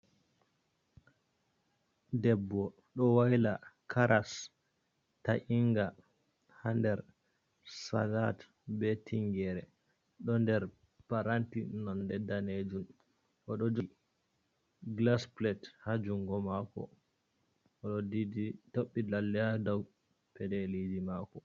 Debbo ɗo wayla karas ta’inga ha nder salat, be tingere do nder paranti nonde danejum oɗo jogi glas plet ha jungo mako oɗo toɓɓi lallea dou pedeliji mako.